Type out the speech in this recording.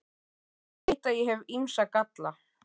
Ég veit að ég hef ýmsa galla.